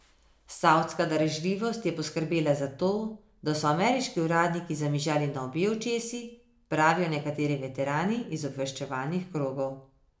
Savdska darežljivost je poskrbela za to, da so ameriški uradniki zamižali na obe očesi, pravijo nekateri veterani iz obveščevalnih krogov.